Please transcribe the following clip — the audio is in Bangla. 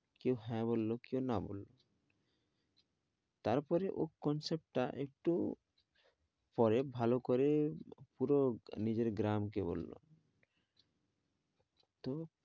কেউ হ্যাঁ বলল, কেউ না বলল, তারপরে ও concept টা একটু পরে ভালো করে পুরো ভালো করে পুরো নিজের গ্রামকে বললো